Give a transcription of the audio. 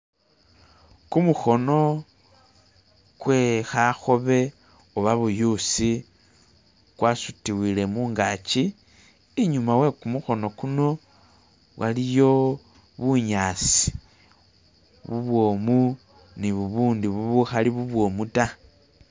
Gumukono gwe kakobe oba buyusi gwasiduwile mungajji. Inyuma wegumukono guno waliyo bunyasi bubwomu ni bubundi ubukali bubwomu da.